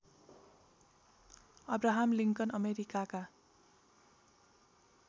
Abraham Lincoln अमेरिकाका